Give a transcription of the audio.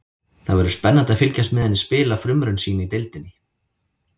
Það verður spennandi að fylgjast með henni spila frumraun sína í deildinni.